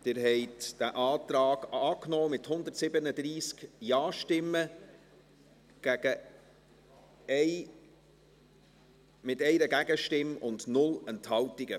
Sie haben diesen Antrag angenommen, mit 137 Ja-Stimmen gegen 1 Nein-Stimmen bei 0 Enthaltungen.